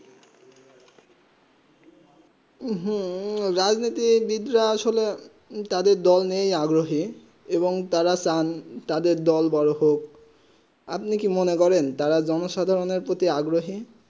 রাজনীতি বিদ্যা আসলে তাদের দোল নেই আগ্রহেই এবং তারা চান তাদের দোল বোরো হোক আপনি কি মনে করেন তারা জনসাধারণ প্রতি আগ্রহী